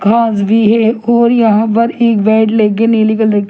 घास भी है और यहां पर एक बेड लेके नीली कलर --